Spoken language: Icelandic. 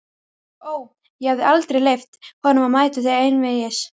Ó, ég hefði aldrei leyft honum að mæta til einvígis!